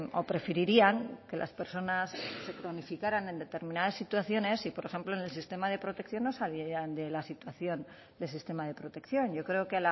o preferirían que las personas se cronificaran en determinadas situaciones y por ejemplo en el sistema de protección no saliesen de la situación del sistema de protección yo creo que